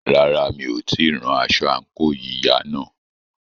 Rárá, mi ò tíì rán aṣọ àǹkóò yíya náà.